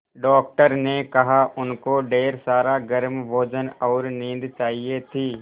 doctor ने कहा उनको ढेर सारा गर्म भोजन और नींद चाहिए थी